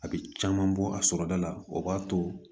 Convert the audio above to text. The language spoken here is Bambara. A bɛ caman bɔ a sɔrɔda la o b'a to